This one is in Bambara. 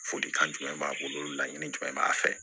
Folikan jumɛn b'a bolo laɲini jumɛn b'a fɛ